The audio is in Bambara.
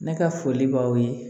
Ne ka foli b'aw ye